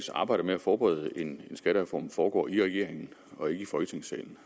arbejde med at forberede en skattereform foregår i regeringen og ikke i folketingssalen